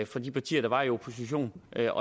fra de partier der var i opposition det